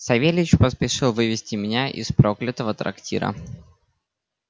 савельич поспешил вывезти меня из проклятого трактира